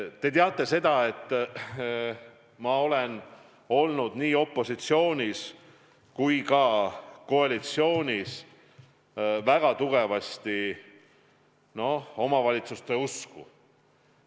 Te teate seda, et ma olen olnud nii opositsioonis kui ka koalitsioonis väga tugevasti omavalitsuste usku.